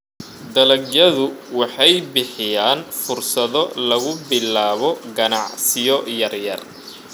Dalagyadu waxay bixiyaan fursado lagu bilaabo ganacsiyo yaryar.